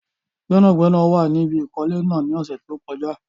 Gbẹ́nàgbẹ́nà wà ní ibi ìkọ́lé náà ní ọ̀sẹ̀ tí ó kọjá